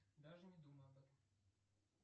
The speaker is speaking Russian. даже не думай об этом